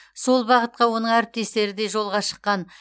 сол бағытқа оның әріптестері де жолға шыққан